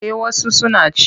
Eh wasu suna ci.